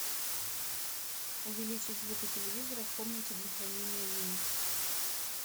увеличить звук у телевизора в комнате для хранения вин